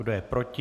Kdo je proti?